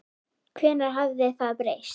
Hvenær hafði það breyst?